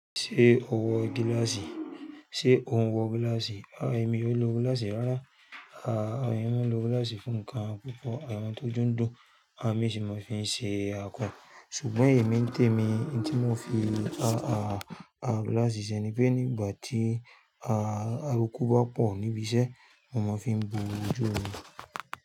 Ṣé o wọ gíláàsì? Sé o ń wọ gíláàsì? À, èmi ò lo gíláàsì rárá. À, èmi ń lo gíláàsì fún nǹkan púpọ̀. Àwon tó jù ń dùn, àwon mí sì máa ń fi ṣe ako Ṣùgbọ́n èmi ń tèmi ń tí mo fi, à, à, à gíláàsì ṣe ni pé nígbà tí, à, à aruku bá pọ̀ níbi iṣẹ́, mo máa ń fi bo ojú mi.